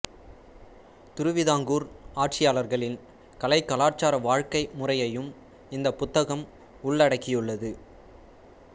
திருவிதாங்கூர் ஆட்சியாளர்களின் கலைகலாச்சார வாழ்க்கை முறையையும் இந்த புத்தகம் உள்ளடக்கியுள்ளது